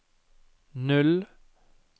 null